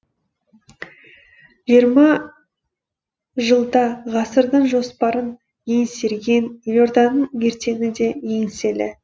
жиырма жылда ғасырдың жоспарын еңсерген елорданың ертеңі де еңселі